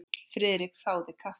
Friðrik þáði kaffi.